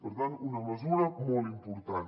per tant una mesura molt important